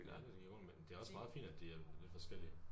Ja det giver god mening det er også meget fint at de er lidt forskellige